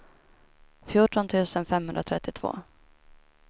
fjorton tusen femhundratrettiotvå